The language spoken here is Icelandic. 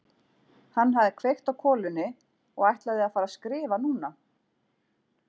Hann hafði kveikt á kolunni og ætlaði að fara að skrifa núna!